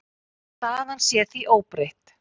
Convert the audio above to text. Staðan sé því óbreytt.